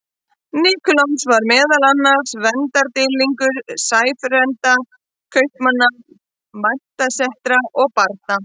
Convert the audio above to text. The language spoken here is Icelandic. Nikulás var meðal annars verndardýrlingur sæfarenda, kaupmanna, menntasetra og barna.